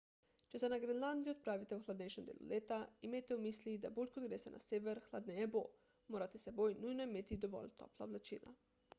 če se na grenlandijo odpravite v hladnejšem delu leta imejte v mislih da bolj kot greste na sever hladneje bo morate s seboj nujno imeti dovolj topla oblačila